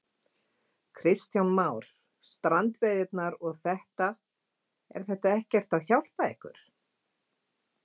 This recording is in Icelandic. Kristján Már: Strandveiðarnar og þetta, er þetta ekkert að hjálpa ykkur?